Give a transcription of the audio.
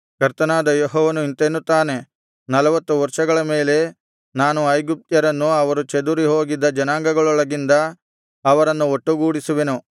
ಕರ್ತನಾದ ಯೆಹೋವನು ಇಂತೆನ್ನುತ್ತಾನೆ ನಲ್ವತ್ತು ವರ್ಷಗಳ ಮೇಲೆ ನಾನು ಐಗುಪ್ತ್ಯರನ್ನು ಅವರು ಚದುರಿ ಹೋಗಿದ್ದ ಜನಾಂಗಗಳೊಳಗಿಂದ ಅವರನ್ನು ಒಟ್ಟುಗೂಡಿಸುವೆನು